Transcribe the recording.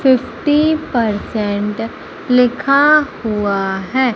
Fifty percent लिखा हुआ है।